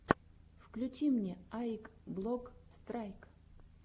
включи мне аик блок страйк